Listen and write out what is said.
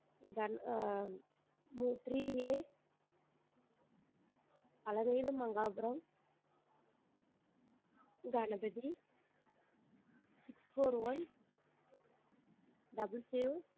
Ah three a Alavela Mangapuram Ganapathi six four one double zero.